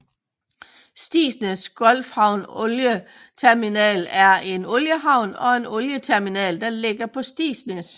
Stigsnæs Gulfhavn Olie Terminal er en oliehavn og en olieterminal der ligger på Stigsnæs